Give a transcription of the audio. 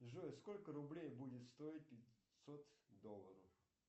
джой сколько рублей будет стоить пятьсот долларов